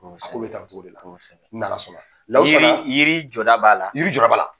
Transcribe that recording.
n'Ala sɔn na yiri yiri jɔda b'a la yiri jɔda b'a la.